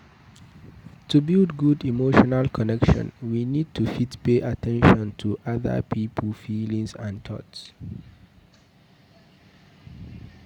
To build good emotional connection we need to fit pay at ten tion to ada pipo feelingds and thoughts